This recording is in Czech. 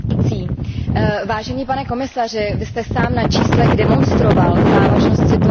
Pane komisaři, vy sám jste na číslech demonstroval závažnost situace na evropském trhu.